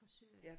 Fra Syrien